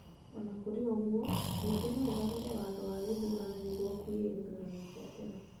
O na kũrĩ ũguo, mbunge no ĩgarũre watho wa gĩthurano nĩguo kũgĩe na gĩthurano kĩa tene.